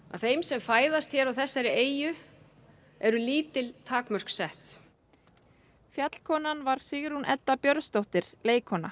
að þeim sem fæðast hér á þessari eyju eru lítil takmörk sett fjallkonan var Sigrún Edda Björnsdóttir leikkona